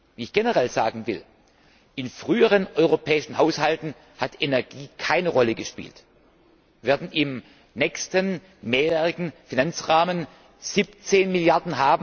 Wie ich generell sagen will In früheren europäischen Haushalten hat Energie keine Rolle gespielt. Wir werden im nächsten mehrjährigen Finanzrahmen 17 Mrd.